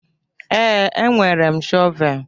Ee, enwere m shọvel.